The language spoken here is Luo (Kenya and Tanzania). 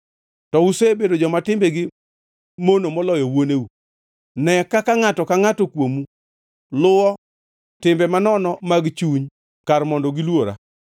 To usebedo joma timbegi mono moloyo wuoneu. Ne kaka ngʼato ka ngʼato kuomu luwo timbe manono mag chuny kar mondo gilwora.